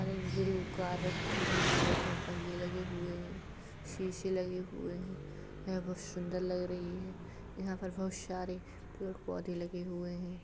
यहाँ एक blue car रखी हुई है इसमें पहिये लगे हुए है शीशे लगे हुए है यह बहुत शुन्दर लग रही है | यहाँ पर बहुत शारे पेड़ पौधे लगे हुए हैं।